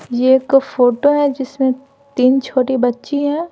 यह एक फोटो है जिसमें तीन छोटी बच्ची हैं।